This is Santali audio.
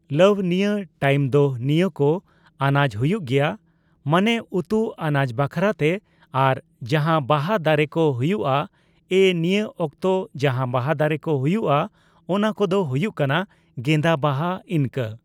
ᱞᱟᱣ, ᱱᱤᱭᱟᱹ ᱴᱟᱭᱤᱢ ᱫᱚ ᱱᱤᱭᱟᱹ ᱠᱚ ᱟᱱᱟᱡ ᱦᱩᱭᱩᱜ ᱜᱮᱭᱟ᱾ ᱢᱟᱱᱮ ᱩᱛᱩ ᱟᱱᱟᱡᱫᱟᱮ ᱵᱟᱠᱷᱨᱟ ᱛᱮ ᱟᱨ ᱡᱟᱦᱟ ᱵᱟᱦᱟ ᱫᱟᱨᱮ ᱠᱚ ᱦᱩᱭᱩᱜᱼᱟ, ᱮᱸ ᱱᱤᱭᱟᱹ ᱚᱠᱛᱚ ᱡᱟᱦᱟᱸ ᱵᱟᱦᱟ ᱫᱟᱨᱮ ᱠᱚ ᱦᱩᱭᱩᱜᱼᱟ, ᱚᱱᱟ ᱠᱚᱫᱚ ᱦᱩᱭᱩᱜ ᱠᱟᱱᱟ ᱜᱮᱸᱫᱟ ᱵᱟᱦᱟ, ᱤᱱᱠᱟ,